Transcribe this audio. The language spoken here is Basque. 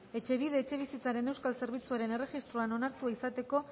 etxebide etxebizitzaren euskal zerbitzuaren erregistroan onartua izateko